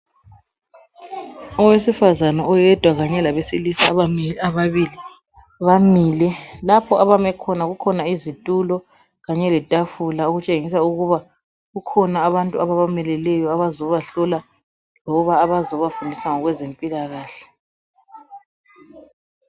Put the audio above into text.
Owesifazana oyedwa kanye labesilisa ababili abamile. Lapha abame khona kukhona izitulo kanye letafula okutshengisa ukuba bakhona abantu ababameleleyo abazobahlola loba abazobafundisa ngokwezempila kahle.